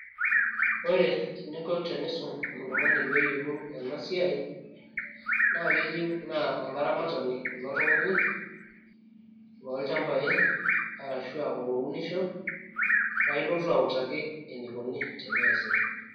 ore eninko tenisum oltung'ani peeyiolou ena siai naa keyieu naa olaramatani ilo tung'ani loolchambai arashu aa olounisho paa ilotu autaki enikoni tene eesi.